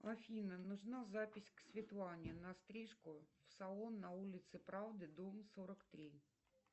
афина нужна запись к светлане на стрижку в салон на улице правды дом сорок три